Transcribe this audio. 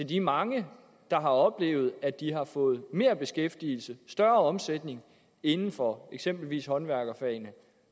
de mange der har oplevet at de har fået mere beskæftigelse og større omsætning inden for eksempelvis håndværkerfagene